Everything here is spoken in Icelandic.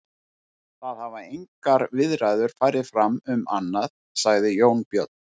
Það hafa engar viðræður farið fram um annað, sagði Jón Björn.